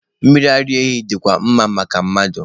Mmiri ara ehi dịkwa mma maka mmadụ.